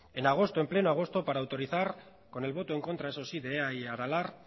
en agosto en pleno agosto para autorizar con el voto en contra eso sí de ea y aralar